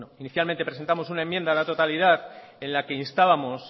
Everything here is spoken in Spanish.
inicialmente presentamos unaenmienda a la totalidad en la que instábamos